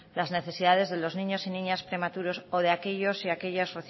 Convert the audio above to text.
las necesidades de los niños y niñas prematuros o de aquellos y aquellas